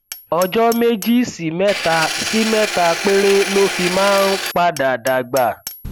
ọjọ méjì sí mẹta sí mẹta péré ló fi máa ń padà dàgbà